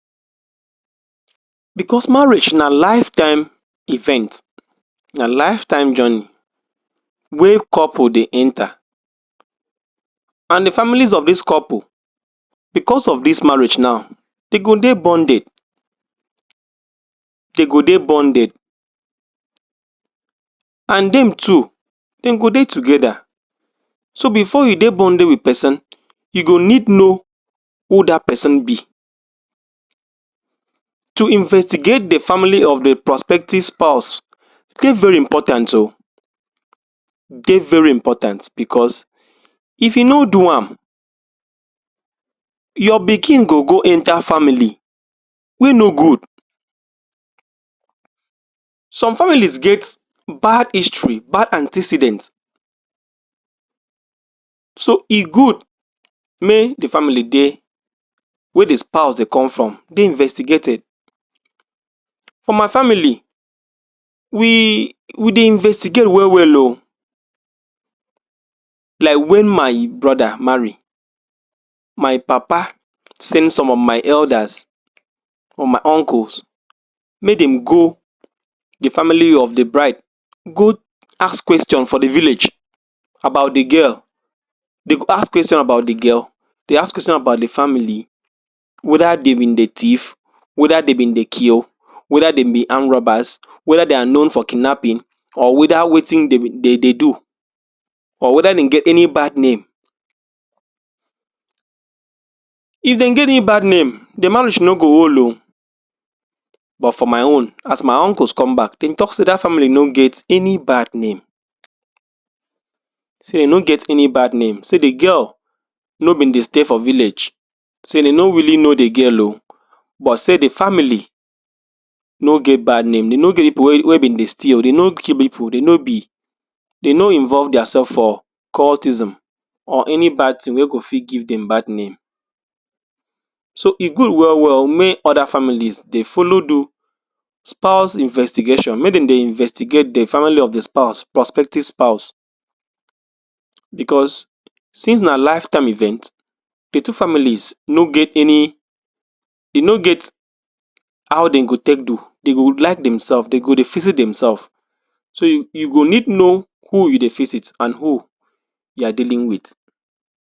Because marriage na lifetime event, na lifetime journey wey couple dey enter, and the families of these couple because of this marriage now, de go dey bonded. De go dey bonded, and dem too, dem go dey together. So, before you dey bonded with person, you go need know who that person be. To investigate the family of the prospective spouse dey very important o, dey very important because, if you no do am, your pikin go go enter family wey no good. Some families get bad history, bad antecedent, so e good make the family dey wey the spouse dey come from dey investigated. For my family, we we dey investigate well well o. Like when my brother marry, my papa send some of my elders or my uncles make dem go the family of the bride, go ask question for the village about the girl. Dem go ask question about the girl, dem ask question about the family, whether dem been dey theif, whether dem been dey kill, whether dem be armed robbers, whether they are known for kidnapping or whether wetin dem? dem dey do or whether dem get any bad name. If dem get any bad name, the marriage no go hold o. But, for my own, as my uncles come back, dem talk sey that family no get any bad name, sey dem no get any bad name, sey the girl no been dey stay for village, sey dem no really know the girl o, but sey the family no get bad name. Dem no get pipu wey wey been dey steal, dem no kill pipu, dem no be dem no involve their self for cultism or any bad thing wey go fit give dem bad name. So, e good well well o make other families dey follow do spouse investigation. Make dem dey investigate the family of the spouse prospective spouse because, since na lifetime event, the two families no get any dem no get how dem go take do. Dem go like themselves, dem go dey visit themself. So, you you go need know who you dey visit and who you are dealing with.